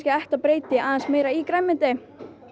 breyta aðeins meira í grænmeti